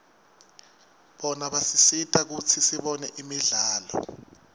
bona basisita kutsi sibone imidlalo